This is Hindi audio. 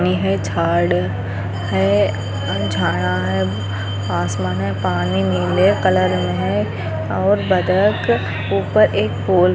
ने है झाड़ है झाड़ा है आसमान पानी नीले कलर में है और बत्तख ऊपर एक पोल